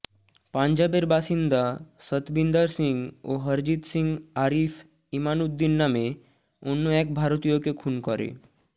পঞ্জাবের বাসিন্দা সতবিন্দার সিং ও হরজিত সিং আরিফ ইমানউদ্দিন নামে অন্য এক ভারতীয়কে খুন করে